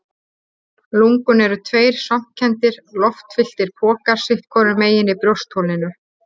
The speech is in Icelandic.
Lungun eru tveir svampkenndir, loftfylltir pokar sitt hvorum megin í brjóstholinu.